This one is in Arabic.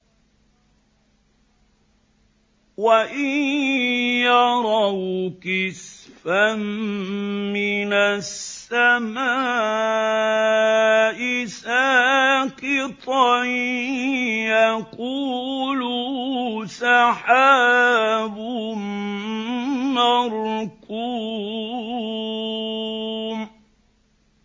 وَإِن يَرَوْا كِسْفًا مِّنَ السَّمَاءِ سَاقِطًا يَقُولُوا سَحَابٌ مَّرْكُومٌ